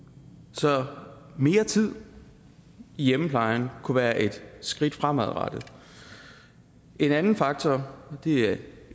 så mere tid i hjemmeplejen kunne være et skridt fremadrettet en anden faktor er